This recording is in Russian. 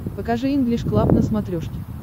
покажи инглиш клаб на смотрешке